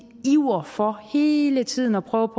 iver for hele tiden at prøve